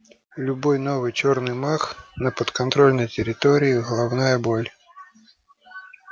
любой новый чёрный маг на подконтрольной территории головная боль